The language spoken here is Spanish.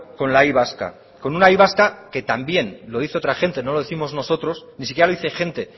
con la y vasca con una y vasca que también lo dice otra gente no lo décimos nosotros ni siquiera lo dice gente